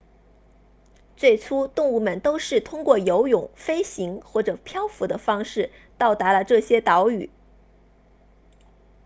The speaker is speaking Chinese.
最初动物们都是通过游泳飞行或者漂浮的方式到达了这些岛屿